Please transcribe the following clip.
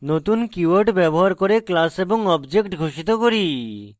নতুন keyword ব্যবহার করে class এবং object ঘোষিত করি